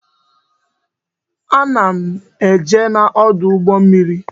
A na m eje n'ọdụ ụgbọ mmiri